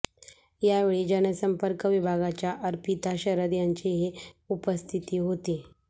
यावेळी जनसंपर्क विभागाच्या अर्पिता शरद यांचीही उपस्थिती होती